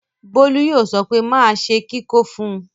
Bólú yóò sọ pé máa ṣe kíkó fún un.